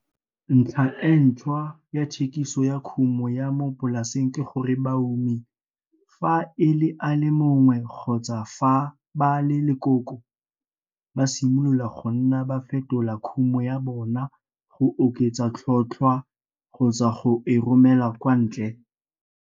Ntlha e ntshwa ya thekiso ya kumo ya mo polaseng ke gore baumi, fa e le a le mongwe kgotsa fa ba le lekoko, ba simolola go nna ba fetola kumo ya bona go oketsa tlhotlhwa le-kgotsa go e romela kwa ntle.